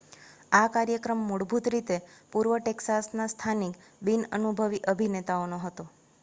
આ કાર્યક્રમ મૂળભત રીતે પૂર્વ ટેક્સાસના સ્થાનિક બિન અનુભવી અભિનેતાનો હતો